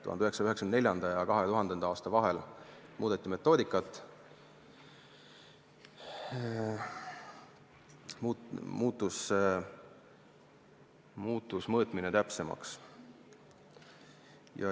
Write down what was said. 1994. ja 2000. aasta vahel metoodikat muudeti, mõõtmine muutus täpsemaks.